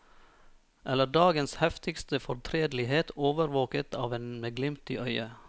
Eller dagens heftigste fortredelighet overvåket av en med glimt i øyet.